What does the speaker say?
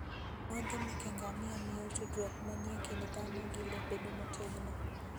muodhe meke ngamia miyo tudruok manie kind dhano gi le bedo motegno.